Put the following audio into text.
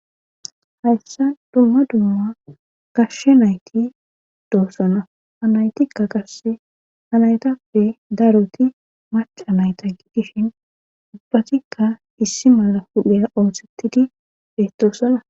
hayssa dumma dumma gashshe nayti doossana hanaytikka qasse hanaytappe daroti maca nayta gigishin ubbatikka issi mala pude oothhettidi deetoossana